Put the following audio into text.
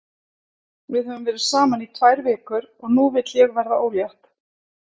Við höfum verið saman í tvær vikur og nú vil ég verða ólétt.